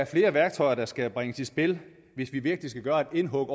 flere værktøjer der skal bringes i spil hvis vi virkelig skal gøre et indhug